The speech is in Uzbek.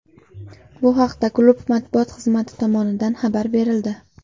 Bu haqda klub matbuot xizmati tomonidan xabar berildi .